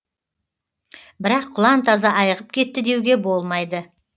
бірақ құлан таза айығып кетті деуге болмайды